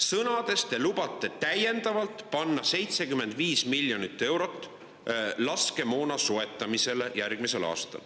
Sõnades lubate te panna järgmisel aastal täiendavalt 75 miljonit eurot laskemoona soetamisele.